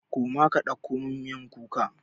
Koma ka ɗauko min miyar kuka!